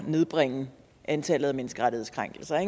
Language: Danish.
nedbringe antallet af menneskerettighedskrænkelser